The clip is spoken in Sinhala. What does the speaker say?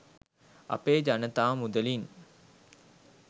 අපේ ජනතා මුදලින්